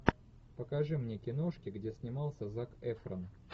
покажи мне киношки где снимался зак эфрон